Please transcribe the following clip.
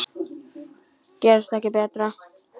Gerist ekki betra.